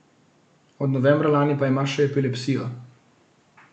Od novembra lani pa ima še epilepsijo.